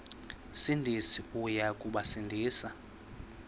sindisi uya kubasindisa